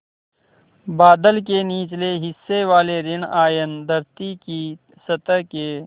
बादल के निचले हिस्से वाले ॠण आयन धरती की सतह के